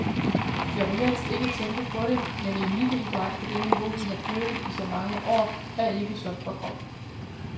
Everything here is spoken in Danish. Jeg vil helst ikke tænke på det, men eliteidræt på det niveau, vi har dyrket i så mange år, er ikke sundt for kroppen.